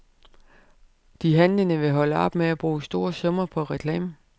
De handlende vil holde op med at bruge store summer på reklame.